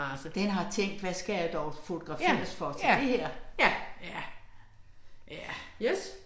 Den har tænkt hvad skal jeg dog fotograferes for til det her? Ja. Ja